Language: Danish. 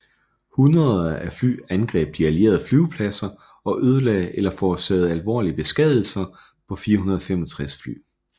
Hundreder af fly angreb de allierede flyvepladser og ødelagde eller forårsagede alvorlige beskadigelser på 465 fly